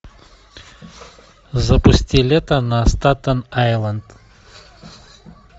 запусти лето на статен айленд